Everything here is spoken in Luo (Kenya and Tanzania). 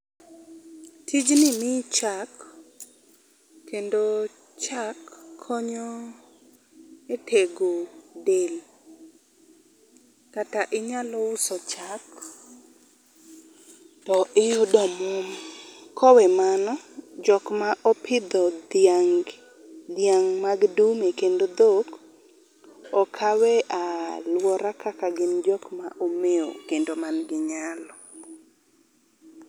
Tijni miyo chak kendo chak konyo e tego del kata inyalo uso chak to iyudo omuom. Kowe mano jokma opidho dhiang gi, dhiang mag dume kendo dhok okawe e aluora kaka jokma omewo kendo man gi nyalo